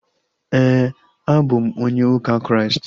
Éè, a bụ m onye ụka Kraịst